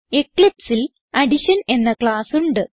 eclipseൽ addition എന്ന class ഉണ്ട്